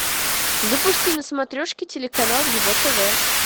запусти на смотрешке телеканал его тв